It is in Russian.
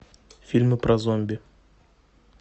фильмы про зомби